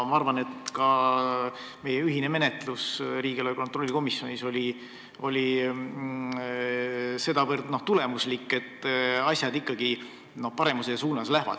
Ma arvan, et riigieelarve kontrolli erikomisjoni koostöö teiega on olnud sedavõrd tulemuslik, et asjad lähevad ikkagi paremuse suunas.